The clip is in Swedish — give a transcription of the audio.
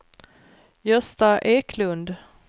Gösta Eklund